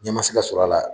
Ɲɛma se ka sɔrɔ a la